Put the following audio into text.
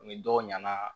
Ni dɔw ɲɛna